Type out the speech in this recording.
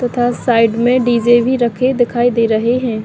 तथा साइड में डी_जे भी रखे दिखाई दे रहे है।